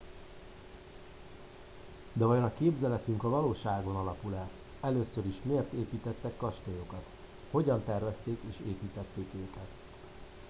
de vajon a képzeletünk a valóságon alapul e először is miért építettek kastélyokat hogyan tervezték és építették őket